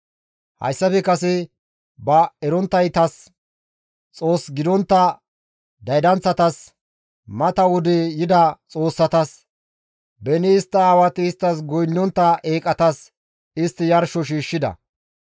Hayssafe kase ba eronttaytas, Xoos gidontta daydanththatas, mata wode yida xoossatas, beni istta aawati isttas goynnontta eeqatas, istti yarsho shiishshida.